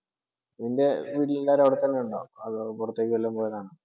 നിൻ്റെ വീട്ടിലെല്ലാരും അവിടെ തന്നെ ഉണ്ടോ, അതോ പുറത്തേക്കു വല്ലതും പോയതാണോ?